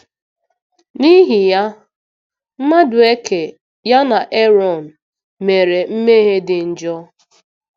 N'ihi ya, Madueke, ya na Erọn, mere mmehie dị njọ.